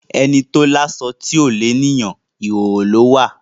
Ẹni tó láṣọ tí ò léèyàn, ìhòhò ló wà.